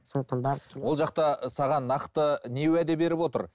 сондықтан барып ол жақта саған нақты не уәде беріп отыр